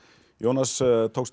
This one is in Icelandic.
Jónas